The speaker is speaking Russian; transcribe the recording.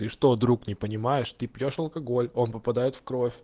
ты что друг не понимаешь ты пьёшь алкоголь он попадает в кровь